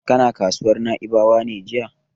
Kana kasuwar Na'ibawa ne jiya?